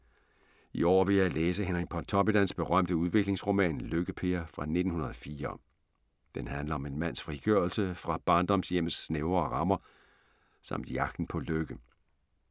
I år vil jeg læse Henrik Pontoppidans berømte udviklingsroman Lykke-Per fra 1904. Den handler om en mands frigørelse fra barndomshjemmets snævre rammer samt jagten på lykke.